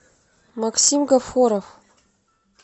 максим гафоров